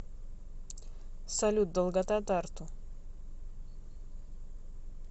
салют долгота тарту